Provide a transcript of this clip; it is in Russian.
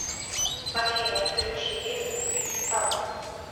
афина включи ес узбекистан